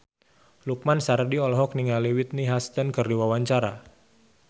Lukman Sardi olohok ningali Whitney Houston keur diwawancara